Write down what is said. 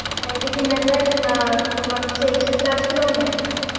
আর এদিকে maam রা না তোমার হচ্ছে extra class গুলোও নেই না